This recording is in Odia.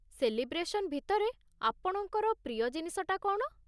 ସେଲିବ୍ରେସନ୍ ଭିତରେ ଆପଣଙ୍କର ପ୍ରିୟ ଜିନିଷଟା କ'ଣ?